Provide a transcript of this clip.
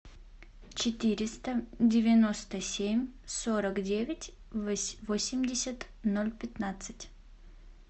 четыреста девяносто семь сорок девять восемьдесят ноль пятнадцать